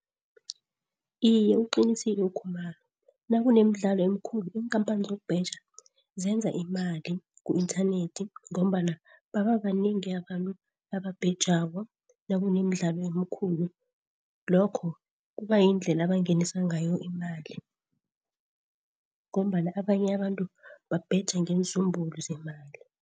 Iye, uqinisile uKhumalo nakunemidlalo emikhulu iinkhamphani zokubheja zenza imali ku-inthanethi ngombana baba banengi abantu ababhejako nakunemidlalo emikhulu. Lokho kuba yindlela abangenisa ngayo imali ngombana abanye abantu babheja ngenzumbulu zemali.